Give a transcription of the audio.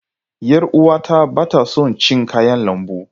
Yar uwata ba ta son cin kayan lambu.